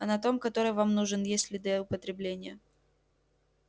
а на том который вам нужен есть следы употребления